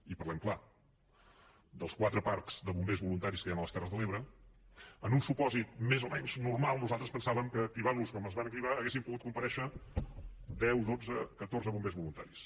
i parlem clar dels quatre parcs de bombers voluntaris que hi ha a les terres de l’ebre en un supòsit més o menys normal nosaltres pensàvem que activant los com es van activar haurien pogut comparèixer deu dotze catorze bombers voluntaris